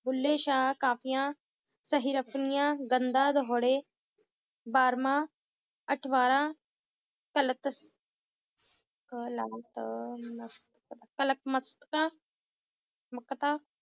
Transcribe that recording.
ਬੁੱਲੇ ਸ਼ਾਹ ਕਾਫ਼ੀਆਂ ਬਾਰਮਾਂ, ਅਠਵਾਰਾਂ, ਤਲਖ਼~ ਅਹ ਮਕਤਾਂ